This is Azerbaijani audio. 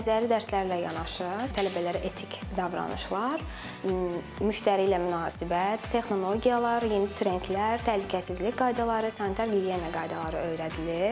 Nəzəri dərslərlə yanaşı tələbələrə etik davranışlar, müştəri ilə münasibət, texnologiyalar, yeni trendlər, təhlükəsizlik qaydaları, sanitar gigiyena qaydaları öyrədilir.